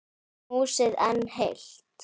Húsið enn heilt.